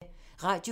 Radio 4